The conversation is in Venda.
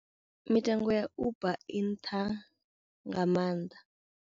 Mitengo ya Uber I nṱha nga mannḓa.